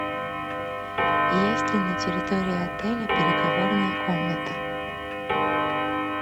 есть ли на территории отеля переговорная комната